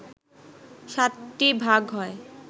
সাতটি ভাগ হয়